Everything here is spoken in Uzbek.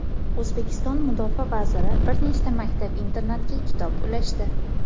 O‘zbekiston Mudofaa vaziri bir nechta maktab-internatga kitob ulashdi.